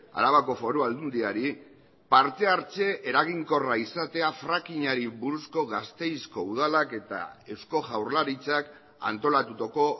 arabako foru aldundiari parte hartze eraginkorra izatea frackingari buruzko gasteizko udalak eta eusko jaurlaritzak antolatutako